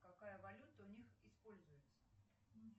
какая валюта у них используется